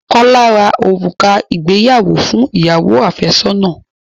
Kọ́lá rá òrùka ìgbéyàwó fún ìyàwó àfẹ́sọ́nà.